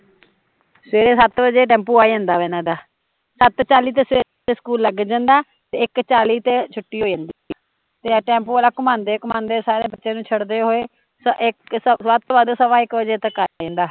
ਸਵੇਰੇ ਸੱਤ ਵਜੇ ਟੈਂਪੂ ਆ ਜਾਂਦਾ ਇਹਨਾਂ ਦਾ, ਸੱਤ ਚਾਲੀ ਤੇ ਸਵੇਰੇ ਸਕੂਲ ਲੱਗ ਜਾਂਦਾ ਤੇ ਇਕ ਚਾਲੀ ਤੇ ਛੁੱਟੀ ਹੋ ਜਾਂਦੀ ਤੇ ਟੈਂਪੂ ਵਾਲਾ ਘੁਮਾਉਂਦੇ ਘੁਮਾਉਂਦੇ ਸਾਰਿਆ ਬੱਚਿਆ ਨੂ ਛੱਡਦੇ ਹੋਏ ਇੱਕ ਵੱਧ ਤੋਂ ਵੱਧ ਸਵਾ ਇੱਕ ਵਜੇ ਤੱਕ ਆ ਜਾਂਦਾ